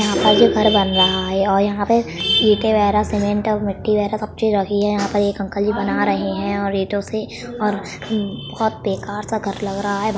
यहा पे जो घर बन रहा है और यहा पे इटे वेगरा सिमेन्ट मिट्टी वेगरा सब चीज रखी हैं। एक अंकल जी बना रहे हैं। ईटों से और बहोत बेकार सा घर लग रहा हैं। --